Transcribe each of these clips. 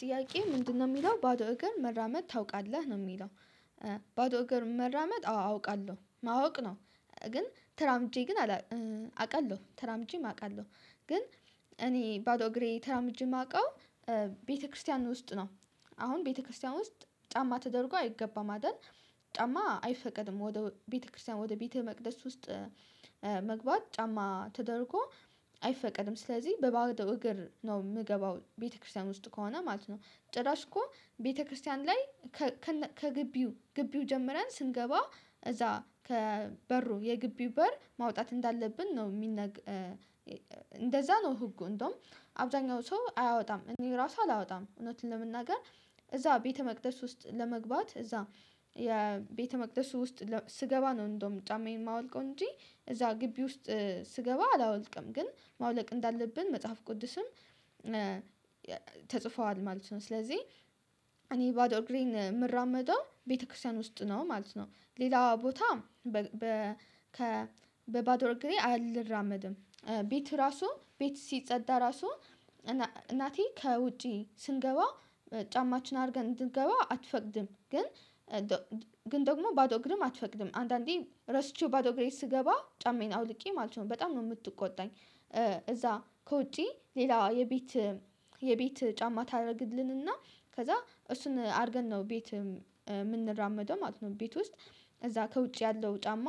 ጥያቄ ምንድነው የሚለው ባዶ እግር መራመድ ታውቃለህ ነው የሚለው? ባዶ እግር መራመድ አወ አውቃለሁ ማወቅ ነው። ግን ተራምጄ ግን አውቃለሁ ተራምጄ አውቃለሁ ግን እኔ ባዶ እግሬ ተራምጄ የማውቀው ቤተክርስቲያን ውስጥ ነው። አሁን ቤተክርስቲያን ውስጥ ጫማ ተደርጎ አይገባም አይደል? ጫማ አይፈቀድም ወደ ቤተክርስቲያን ወደ ቤተ መቅደስ ውስጥ መግባት ጫማ ተደርጎ አይፈቀድም። ስለዚህ በባዶው እግር ነው የምገባው ቤተክርስቲያን ውስጥ ከሆነ ማለት ነው። ጭራሽ እኮ ቤተክርስቲያን ላይ ከግቢው ግቢው ጀምረን ስንገባ እዛ ከበሩ የግቢው በር ማውጣት እንዳለብን ነው የሚነግ። እንደዛ ነው ህጉ እንደውም አብዛኛው ሰው አያወጣም እኔ ራሱ አላወጣም እውነት ለመናገር። እዛ ቤተ መቅደስ ውስጥ ለመግባት እዛ የቤተመቅደሱ ውስጥ ስገባ ነው እንደውም ጫማዬን የማወልቀው እንጂ እዛ ግቢ ውስጥ ስገባ አላወልቅም ግን ማውለቅ እንዳለብን መጽሐፍ ቅዱስም። ተጽፏል ማለት ነው ስለዚህ እኔ ባዶ እግሬን የምራመደው ቤተክርስቲያን ውስጥ ነው ማለት ነው። ሌላው ቦታ። በባዶ እግሬ አልራመድም ቤት ራሱ ቤት ሲጸዳ ራሱ እናቴ ከውጪ ስንገባ ጫማችን አድርገን እንድንገባ አትፈቅድም። ግን ግን ደግሞ ባዶ ግርም አትፈቅድም አንዳንዴ ረስቼው ባዶ ግሬት ስገባ ጫማዬን አውልቄ ማለት ነው በጣም ነው የምትቆጣኝ። እዛ ከውጪ ሌላዋ የቤት የቤት ጫማ ታደርግልንና ከዛ እሱን አድርገን ነው ቤት የምንራመደው ማለት ነው ቤት ውስጥ። ከዛ ከውጭ ያለው ጫማ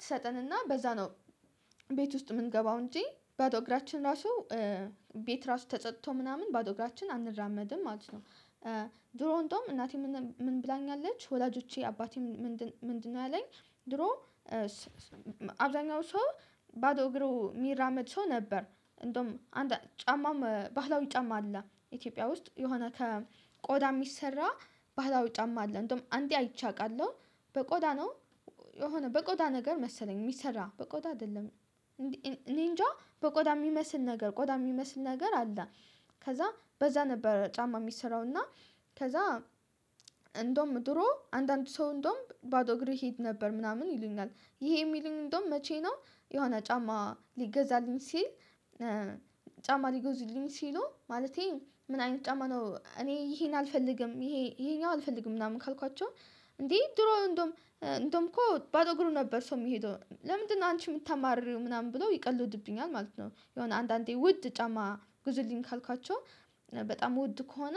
ትሰጠንና በዛ ነው ቤት ውስጥ የምንገባው እንጂ ባዶ እግራችን ራሱ። ቤት ራሱ ተጸድቶ ምናምን ባዶ እግራችን አንራመድም ማለት ነው። ድሮን ዶም እናቴ ምን ምን ብላኛለች ወላጆቼ አባቴ ምንድነው ያለኝ ድሮ። አብዛኛው ሰው ባዶ እግሩ የሚራመድ ሰው ነበር እንደውም አንድ ጫማ ባህላዊ ጫማ አለ ኢትዮጵያ ውስጥ የሆነ ከቆዳ የሚሰራ። ባህላዊ ጫማ አለ እንደውም አንዴ አይቼ አውቃለሁ። በቆዳ ነው የሆነ በቆዳ ነገር መሰለኝ የሚሰራ በቆዳ አይደለም። እኔ እንጃ በቆዳ የሚመስል ነገር ቆዳ የሚመስል ነገር አለ። ከዛ በዛ ነበር ጫማ የሚሰራው እና ከዛ። እንደውም ድሮ አንዳንድ ሰው እንደውም ባዶ እግሬ እሄድ ነበር ምናምን ይሉኛል። ይሄ የሚሉኝ እንደውም መቼ ነው የሆነ ጫማ ሊገዛልኝ ሲል? ጫማ ሊጎዙልኝ ሲሉ ማለቴ ምን አይነት ጫማ ነው እኔ ይሄን አልፈልግም ይሄ ይሄኛው አልፈልግም ምናምን ካልኳቸው። እንዴ ድሮ እንደውም እንደውም እኮ ባዶ እግሩ ነበር ሰው የሚሄደው ለምንድነው? አንቺ የምታማርሪው ምናምን ብሎ ይቀልድብኛል ማለት ነው። የሆነ አንዳንዴ ውድ ጫማ ጉዝልኝ ካልኳቸው። በጣም ወድ ከሆነ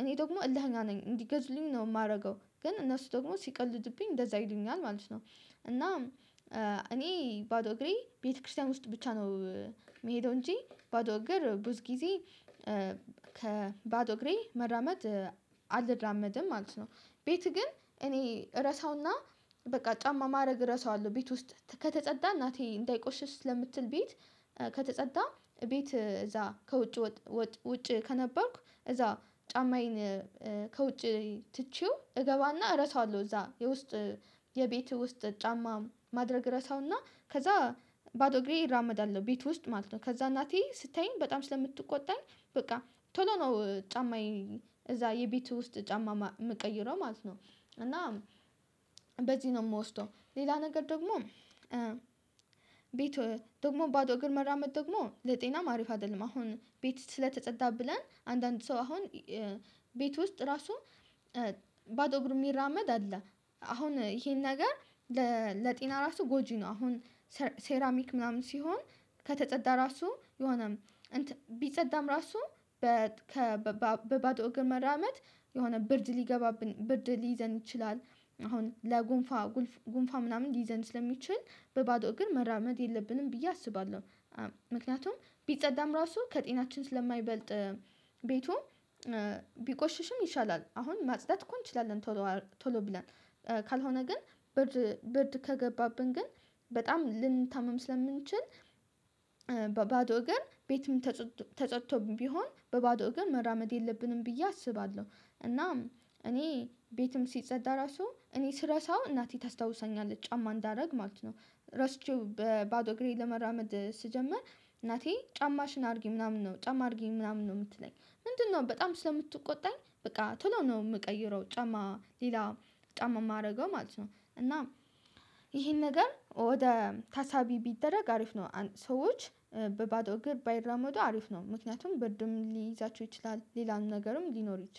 እኔ ደግሞ እልህኛ ነኝ እንዲገዙልኝ ነው የማደርገው ግን እነሱ ደግሞ ሲቀልድብኝ እንደዛ ይሉኛል ማለት ነው። እና እኔ ባዶ እግሬ ቤተክርስቲያን ውስጥ ብቻ ነው የምሄደው እንጂ ባዶ እግር ብዙ ጊዜ። ከባዶ እግሬ መራመድ አልራመድም ማለት ነው። ቤት ግን እኔ ረሳውና በቃ ጫማ ማድረግ እረሳዋለሁ ቤት ውስጥ ከተጸዳ እናቴ እንዳይቆሽሽ ስለምትል ቤት። ከተጸዳ ቤት እዛ ከውጭ ውጭ ከነበርኩ እዛ ጫማዬን ከውጪ ትቼው እገባና እረሳዋለሁ። እዛ የውስጥ የቤትህ ውስጥ ጫማ ማድረግ እረሳውና ከዛ ባዶ እግሬ ይራመዳለሁ ቤት ውስጥ ማለት ነው። ከዛ እናቴ ስታየኝ በጣም ስለምትቆጣኝ በቃ ቶሎ ነው ጫማዬን እዛ የቤቱ ውስጥ ጫማ የምቀይረው ማለት ነው። እና በዚህ ነው የምወስደው ሌላ ነገር ደግሞ። ቤት ደግሞ ባዶ እግር መራመድ ደግሞ ለጤናም አሪፍ አይደለም። አሁን ቤት ስለተፀዳ ብለን አንዳንድ ሰው አሁን ቤት ውስጥ ራሱ ባዶ እግሩ የሚራመድ አለ። አሁን ይሄን ነገር ለጤና ራሱ ጎጂ ነው። አሁን ሴራሚክ ምናምን ሲሆን ከተጸዳ ራሱ የሆነ ቢጸዳም ራሱ በ በባዶ እግር መራመድ የሆነ ብርድ ሊገባብን ብርድ ሊይዘን ይችላል። አሁን ለጉንፋ ጉንፋን ምናምን ሊይዘን ስለሚችል በባዶ እግር መራመድ የለብንም ብዬ አስባለሁ። ምክንያቱም ቢጸዳም ራሱ ከጤናችን ስለማይበልጥ ቤቱን ቢቆሽሽም ይሻላል አሁን ማጽዳት እኮ እንችላለን ቶሎ ቶሎ ብለን ካልሆነ ግን ብርድ ከገባብን ግን በጣም ልንታመም ስለምንችል። ባዶ ግን ቤትም ተጸጥቶ ቢሆን በባዶ ግን መራመድ የለብንም ብዬ አስባለሁ። እናም እኔ ቤትም ሲጸዳ ራሱ እኔ ስረሳው እናቴ ታስታውሰኛለች ጫማ እንዳደርግ ማለት ነው። ረስቼው በባዶ እግሬ ለመራመድ ስጀምር እናቴ ጫማሽን አድርጊ ምናምን ነው ጫማ አድርጊ ምናምን ነው የምትለኝ። ምንድነው? በጣም ስለምትቆጣኝ በቃ ቶሎ ነው የምቀይረው ጫማ ሌላ ጫማ የማደርገው ማለት ነው። እና ይሄን ነገር ወደ ታሳቢ ቢደረግ አሪፍ ነው። ሰዎች በባዶ እግር ባይራመዱ አሪፍ ነው። ምክንያቱም ብድም ሊይዛቸው ይችላል ሌላን ነገርም ሊኖር ይችላል